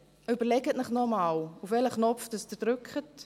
Überlegen Sie sich noch einmal, auf welchen Abstimmungsknopf Sie drücken.